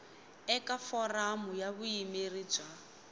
eka foramu ya vuyimeri bya